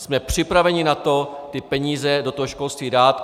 Jsme připraveni na to ty peníze do toho školství dát.